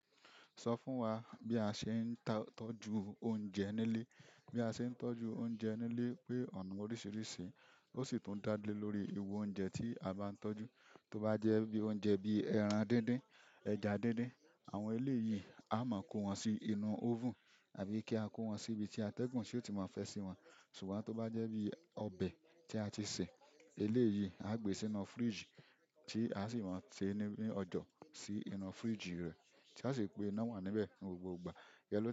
Sọ fún wa bí a ṣe ń tọ́jú oúnjẹ nílé. Bí a ṣe ń tọ́jú oúnjẹ nílé pé ọ̀nà oríṣiríṣi, ó sì tún dá lé lórí ìru oúnjẹ tí a bá ń tọ́jú. To ba je bi oúnjẹ bi ẹran díndín, ẹja díndín. Àwọn eleyi a maa ko won sínú oven tàbí ki ako won si ibi ti ategun o ti maa fe si won. Ṣùgbọ́n tó bá jẹ́ bí ọbẹ̀ tí a ti sè, eléyìí á gbe sínú fridge tí a sì máa ń tẹ ní ọjọ́ sí inú fridge rẹ̀ tí a sì pé iná wà níbẹ̀ ní gbogbo ìgbà. Yẹ lo.